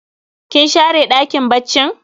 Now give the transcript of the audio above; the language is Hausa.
Kin share ɗakin baccin?